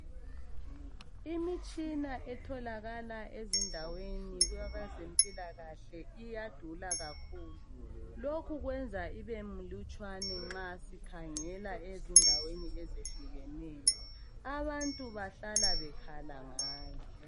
Imitshina etholakala ezindaweni zempilakahle iyadula kakhulu. Lokhu kwenza ibe milutshwane nxa sikhangela ezindaweni ezehlukeneyo. Abantu bahlala bekhala ngayo.